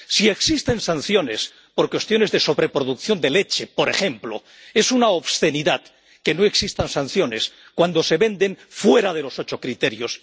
Si existen sanciones por cuestiones de sobreproducción de leche, por ejemplo, es una obscenidad que no existan sanciones cuando se venden armas fuera de los ocho criterios.